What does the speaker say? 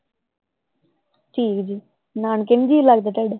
ਠੀਕ ਹੈ ਨਾਨਕੇ ਨੀ ਜੀ ਲਗਦਾ?